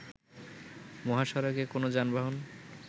মহাসড়কে কোন যানবাহন